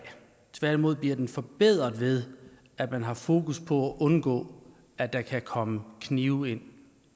tværtimod bliver den forbedret ved at man har fokus på at undgå at der kan komme knive ind